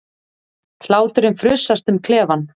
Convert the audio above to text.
Hláturinn frussast um klefann.